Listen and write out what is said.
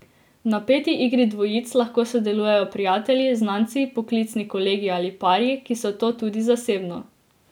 V napeti igri dvojic lahko sodelujejo prijatelji, znanci, poklicni kolegi ali pari, ki so to tudi zasebno.